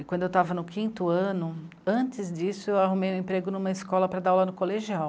E quando eu estava no quinto ano, antes disso, eu arrumei um emprego em uma escola para dar aula no colegial.